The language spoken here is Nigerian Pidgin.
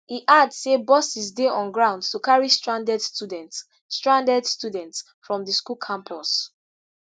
e add say buses dey on ground to carry stranded students stranded students from di school campus.